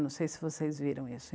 Não sei se vocês viram isso.